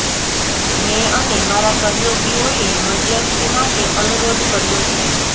મેં અને મારા સહયોગીઓએ મધ્યસ્થી માટે અનુરોધ કર્યો છે